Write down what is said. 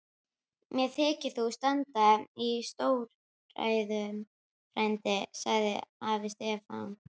Mér þykir þú standa í stórræðum frændi, sagði afi Stefán.